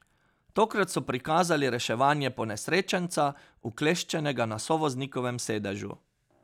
Tokrat so prikazali reševanje ponesrečenca, ukleščenega na sovoznikovem sedežu.